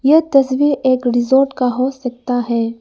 यह तस्वीर एक रिसोर्ट का हो सकता है।